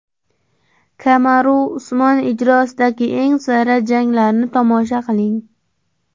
Kamaru Usmon ijrosidagi eng sara janglarni tomosha qiling!